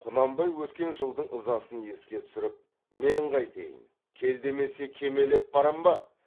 құнанбай өткен жылдың ызасын еске түсіріп мен қайтейін кел демесе кемелеп барам ба